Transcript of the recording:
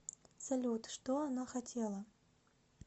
салют что она хотела